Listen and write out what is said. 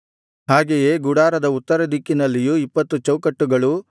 ಹಾಗೆಯೇ ಗುಡಾರದ ಉತ್ತರದಿಕ್ಕಿನಲ್ಲಿಯೂ ಇಪ್ಪತ್ತು ಚೌಕಟ್ಟುಗಳು